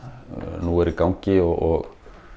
nú eru í gangi og